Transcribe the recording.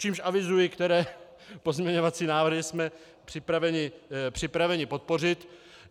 Čímž avizuji, které pozměňovací návrhy jsme připraveni podpořit.